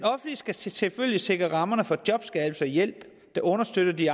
skal selvfølgelig sikre rammerne for jobskabelse og hjælp der understøtter de